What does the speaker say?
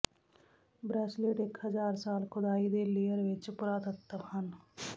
bracelet ਇੱਕ ਹਜ਼ਾਰ ਸਾਲ ਖੁਦਾਈ ਦੇ ਲੇਅਰ ਵਿੱਚ ਪੁਰਾਤੱਤਵ ਹਨ